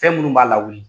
Fɛn minnu b'a lawuli